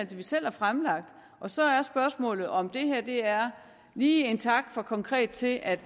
vi selv har fremsat så er spørgsmålet om det er lige en tak for konkret til at